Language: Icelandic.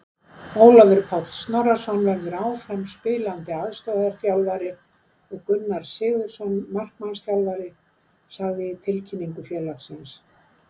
Ólafur Páll Snorrason verður áfram spilandi aðstoðarþjálfari og Gunnar Sigurðsson markmannsþjálfari, sagði í tilkynningu félagsins.